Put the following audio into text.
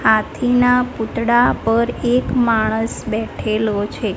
હાથી ના પૂતળા પર એક માણસ બેઠેલો છે.